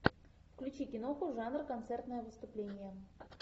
включи киноху жанр концертное выступление